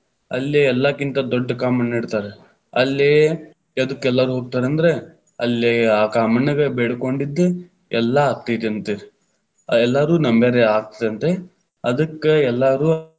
ಅಲ್ಲಿ ಎಲ್ಲಾಕ್ಕಿಂತ ದೊಡ್ಡ ಕಾಮಣ್ಣ ಇಡ್ತಾರ, ಅಲ್ಲೇ ಎದಕ್ ಎಲ್ಲಾರು ಹೋಗ್ತಾರ ಅಂದ್ರ ಅಲ್ಲೇ, ಆ ಕಾಮಣ್ಣಗ ಬೇಡಕೊಂಡಿದ್ ಎಲ್ಲಾ ಆಗ್ತೆತಂತ, ಎಲ್ಲಾರು ನಂಬ್ಯಾರ್ರಿ ಆಗತ್ತಾ ಅಂತ ಅದಕ್ಕ ಎಲ್ಲಾರು.